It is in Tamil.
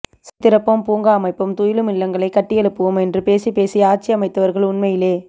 சிலை திறப்போம் பூங்கா அமைப்போம் துயிலும் இல்லங்களை கட்டியெழுப்புவோம் என்று பேசிப்பேசி ஆட்சியமைத்தவர்கள் உன்மையிலே